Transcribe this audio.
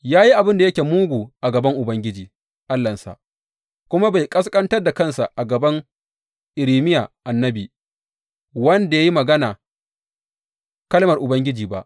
Ya yi abin da yake mugu a gaban Ubangiji Allahnsa kuma bai ƙasƙantar da kansa a gaban Irmiya annabi, wanda ya yi magana kalmar Ubangiji ba.